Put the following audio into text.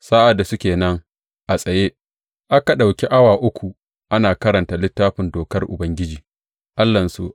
Sa’ad da suke nan a tsaye, aka ɗauki awa uku ana karanta Littafin Dokar Ubangiji Allahnsu.